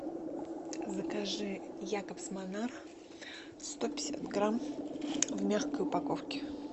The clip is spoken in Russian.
закажи якобс монарх сто пятьдесят грамм в мягкой упаковке